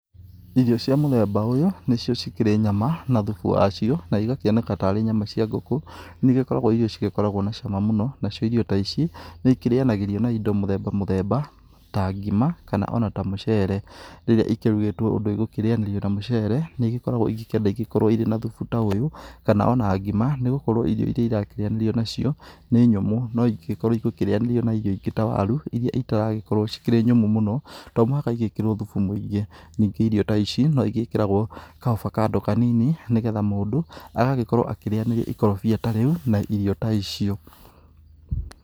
Irio cia mũthemba ta uyũ nĩ cio cikĩrĩ nyama na thubu wacio. Na igakĩoneka tarĩ nyama cia ngũkũ, nĩ igikoragwo irĩirio cirĩ na cama mũno. Na cio irio ta ici nĩ ikĩrĩanagĩrio na indo mũthemba mũthemba ta ngima kana ona ta mũcere. Rĩrĩa ikĩrugĩtwoi ũndũ igũkĩrĩanirio na mũcere nĩ igĩkoragwo igĩkĩenda gũkorwo irĩ na thubu ta ũyũ kana ona ngima. Nĩ gukorwo irio iria irakĩrĩyanĩrio nacio nĩ nyũmũ, no ingĩgĩkorwo igũkĩrĩanĩrio na irio ingĩ ta waru, iria itaragĩkorwo cikĩrĩ nyũmũ mũno, to mũhaka igĩkĩrwo thubu mũingĩ. Ningĩ irio ta ici no igĩkĩragwo ka ovacado kanini, nĩ getha mũndũ agagĩkorwo akĩrĩyaniria ikorobia ta rĩu na irio ta icio.